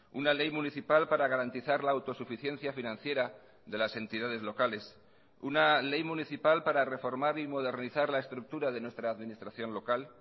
una ley municipal para garantizar la autosuficiencia financiera de las entidades locales una ley municipal para reformar y modernizar la estructura de nuestra administración local